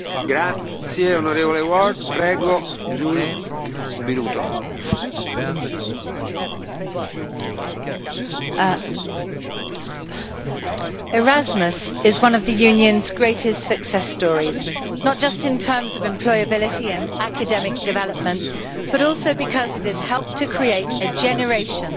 Mr President, Erasmus is one of the Union's greatest success stories, not just in terms of employability and academic development, but also because it has helped to create a generation of proud, open minded and resilient Europeans,